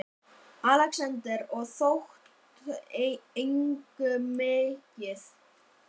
ALEXANDER: Og þótti engum mikið.